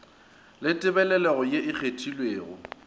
la tebalelo ye e kgethegilego